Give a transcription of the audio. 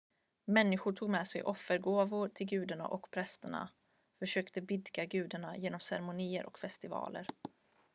människor tog med sig offergåvor till gudarna och prästerna försökte blidka gudarna genom ceremonier och festivaler